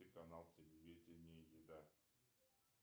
канал телевидение еда